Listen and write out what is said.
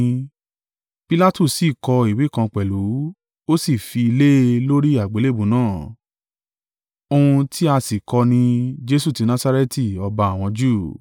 Pilatu sì kọ ìwé kan pẹ̀lú, ó sì fi lé e lórí àgbélébùú náà. Ohun tí a sì kọ ni, Jesu ti Nasareti Ọba àwọn Júù.